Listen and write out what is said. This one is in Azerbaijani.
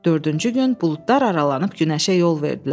Dördüncü gün buludlar aralanıb günəşə yol verdilər.